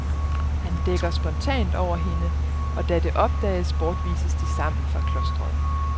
Han dækker spontant over hende, og da det opdages bortvises de sammen fra klosteret.